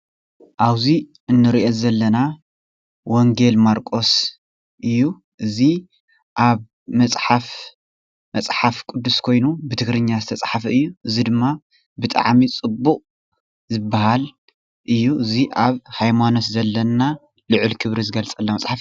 እዚ ምስሊ ናይ እምነት ክርስትና መፅሓፍ ቁዱስ ኮይኑ ወንጌል ማርቆስ ቃል እዩ።